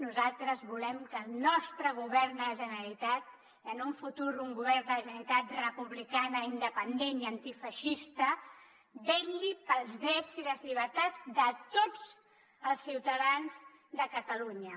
nosaltres volem que el nostre govern de la generalitat i en un futur un govern de la generalitat republicana independent i antifeixista vetlli pels drets i les llibertats de tots els ciutadans de catalunya